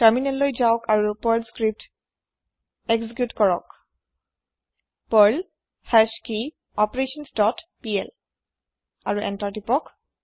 তাৰমিনেললৈ যাওকে আৰু Perl script execute কৰক পাৰ্ল হাশকিঅপাৰেশ্যনছ ডট পিএল আৰু এন্তাৰ প্ৰেচ কৰক